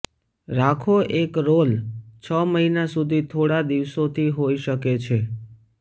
રાખો એક રોલ છ મહિના સુધી થોડા દિવસો થી હોઈ શકે છે